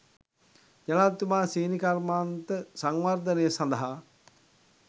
ජනාධිපතිතුමා සීනි කර්මාන්ත සංවර්ධනය සඳහා